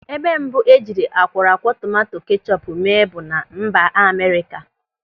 Ebe mbụ e jiri akwọrọakwọ tomanto kechọpu mee bụ na mba Amerịka.